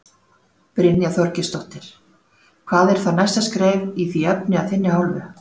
Brynja Þorgeirsdóttir: Hvað er þá næsta skref í því efni af þinni hálfu?